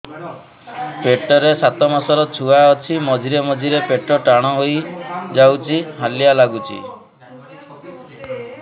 ପେଟ ରେ ସାତମାସର ଛୁଆ ଅଛି ମଝିରେ ମଝିରେ ପେଟ ଟାଣ ହେଇଯାଉଚି ହାଲିଆ ଲାଗୁଚି